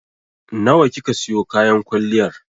Nawa kika siyo kayan kwalliyar?